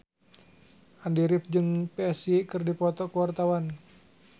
Andy rif jeung Psy keur dipoto ku wartawan